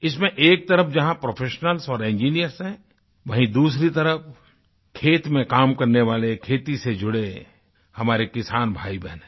इसमें एक तरफ़ जहाँ प्रोफेशनल्स और इंजिनियर्स हैं वहीं दूसरी तरफ खेत में काम करने वाले खेती से जुड़े हमारे किसान भाईबहन हैं